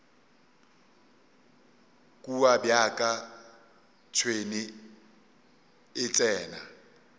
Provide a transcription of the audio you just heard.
kua bjaka tšhwene e tsena